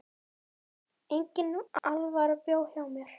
Engin alvara bjó hjá mér.